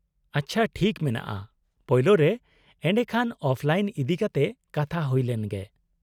-ᱟᱪᱪᱷᱟ, ᱴᱷᱤᱠ ᱢᱮᱱᱟᱜᱼᱟ, ᱯᱳᱭᱞᱳᱨᱮ ᱮᱰᱮᱠᱷᱟᱱ ᱚᱯᱷᱞᱟᱭᱤᱱ ᱤᱫᱤᱠᱟᱛᱮ ᱠᱟᱛᱷᱟ ᱦᱩᱭ ᱞᱮᱱ ᱜᱮ ᱾